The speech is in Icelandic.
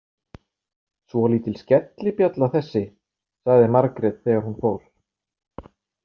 Svolítil skellibjalla þessi, sagði Margrét þegar hún fór.